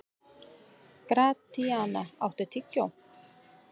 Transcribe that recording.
Gratíana, áttu tyggjó?